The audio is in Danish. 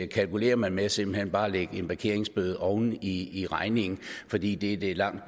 kalkulerer man med simpelt hen bare at lægge en parkeringsbøde oven i i regningen fordi det det er langt